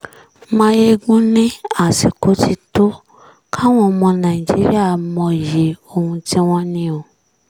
mayegun ni àsìkò tí tó káwọn ọmọ nàìjíríà mọyì ohun tí wọ́n ní o